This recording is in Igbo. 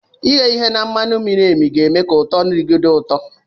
Ighe miri emi na-eme ka ụtọ nri gị dị ụtọ